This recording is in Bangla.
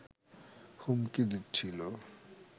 হুমকি দিচ্ছিল